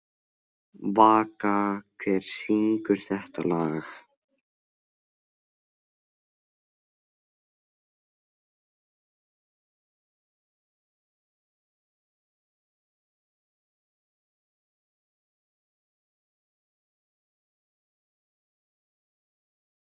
Það eru nefnilega ástæður fyrir öllu, sagði læknirinn við hana.